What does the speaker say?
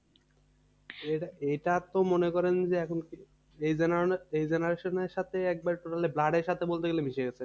এটা এটা তো মনে করেন যে এখন এই এই generation এর সাথে একবারে totally blood এর সাথে বলতে গেলে মিশে গেছে